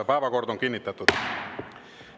Päevakord on kinnitatud.